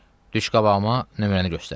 Düş qabağıma, nömrəni göstər.